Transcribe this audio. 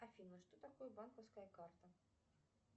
афина что такое банковская карта